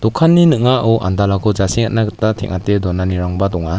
dokanni ning·ao andalako jasengatna gita teng·ate donanirangba donga.